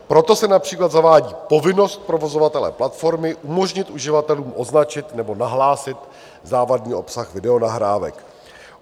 Proto se například zavádí povinnost provozovatele platformy umožnit uživatelům označit nebo nahlásit závadný obsah videonahrávek.